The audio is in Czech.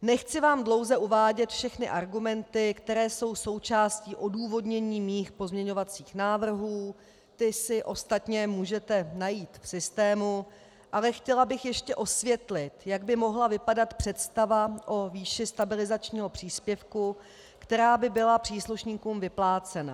Nechci vám dlouze uvádět všechny argumenty, které jsou součástí odůvodnění mých pozměňovacích návrhů, ty si ostatně můžete najít v systému, ale chtěla bych ještě osvětlit, jak by mohla vypadat představa o výši stabilizačního příspěvku, která by byla příslušníků vyplácena.